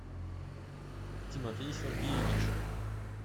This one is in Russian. тимофей сергеевич